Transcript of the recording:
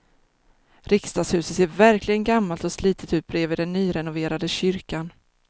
Riksdagshuset ser verkligen gammalt och slitet ut bredvid den nyrenoverade kyrkan.